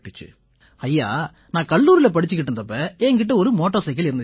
ஐயா நான் கல்லூரியில படிச்சுக்கிட்டு இருந்தப்ப என் கிட்ட ஒரு மோட்டார்சைக்கிள் இருந்திச்சு